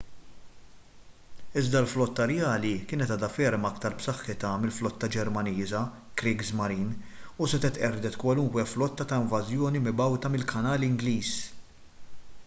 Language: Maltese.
iżda l-flotta rjali kienet għadha ferm iktar b’saħħitha mill-flotta ġermaniża kriegsmarine” u setgħet qerdet kwalunkwe flotta ta’ invażjoni mibgħuta mill-kanal ingliż